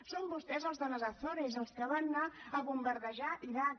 són vostès els de les açores els que van anar a bombardejar l’iraq